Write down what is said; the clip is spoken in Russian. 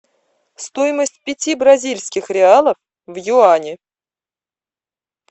стоимость пяти бразильских реалов в юани